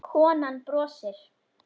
Konan brosir.